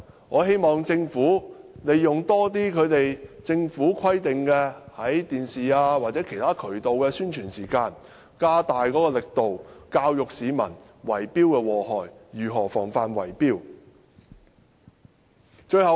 我希望政府多利用政府規定的電視或其他渠道的宣傳時間，加大力度教育市民有關圍標的禍害，以及如何防範圍標行為。